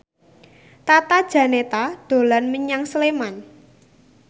Tata Janeta dolan menyang Sleman